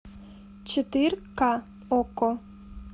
четырка окко